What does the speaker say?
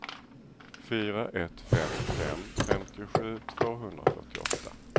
fyra ett fem fem femtiosju tvåhundrafyrtioåtta